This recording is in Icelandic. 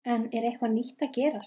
En er eitthvað nýtt að gerast?